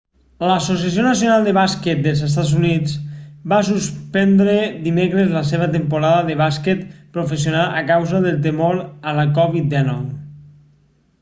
l'associació nacional de bàsquet dels estats units nba va suspendre dimecres la seva temporada de bàsquet professional a causa del temor a la covid-19